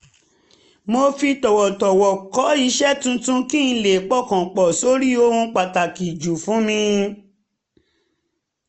mo fi tọ̀wọ̀tọ̀wọ̀ kọ̀ iṣẹ́ tuntun kí n lè pọkàn pọ̀ sórí ohun pàtàkì jù fún mi